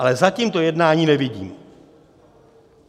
Ale zatím to jednání nevidím.